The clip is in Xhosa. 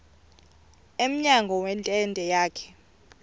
emnyango wentente yakhe